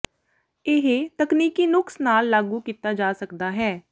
ਇਹ ਤਕਨੀਕੀ ਨੁਕਸ ਨਾਲ ਲਾਗੂ ਕੀਤਾ ਜਾ ਸਕਦਾ ਹੈ